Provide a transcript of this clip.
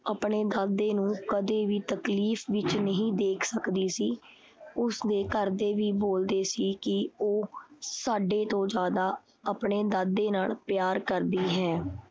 ਆਪਣੇ ਦਾਦੇ ਨੂੰ ਕਦੇ ਵੀ ਤਕਲੀਫ ਵਿੱਚ ਨਹੀਂ ਦੇਖ ਸਕਦੀ ਸੀ। ਉਸਦੇ ਘਰਦੇ ਵੀ ਬੋਲਦੇ ਸੀ ਕੀ ਉਹ ਸਾਡੇ ਤੋਂ ਜ਼ਿਆਦਾ ਆਪਣੇ ਦਾਦੇ ਨਾਲ ਪਿਆਰ ਕਰਦੀ ਹੈ।